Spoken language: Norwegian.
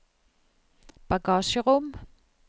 bagasjerom